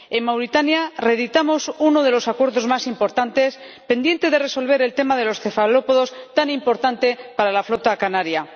en Mauritania reeditamos uno de los acuerdos más importantes, pendiente de resolver el tema de los cefalópodos, tan importante para la flota canaria.